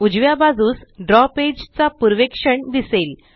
उजव्या बाजूस द्रव पेज चा पूर्वेक्षण दिसेल